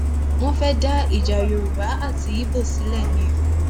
wọn fẹẹ dá ìjà yorùbá àti ibo sílẹ ni o